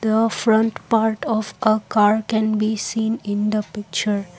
the front part of a car can be seen in the picture